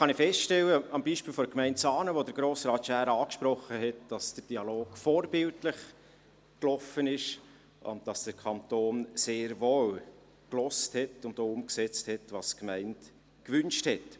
Am Beispiel der Gemeinde Saanen, die Grossrat Schär angesprochen hat, kann ich aufzeigen, dass der Dialog vorbildlich abgelaufen ist, und dass der Kanton sehr wohl zugehört und umgesetzt hat, was die Gemeinde gewünscht hat.